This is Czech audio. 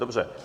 Dobře.